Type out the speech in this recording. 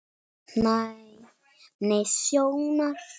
Næmni sjónar